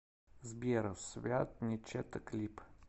сбер свят не чета клип